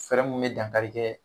Fɛɛrɛ mun bɛ dankari kɛ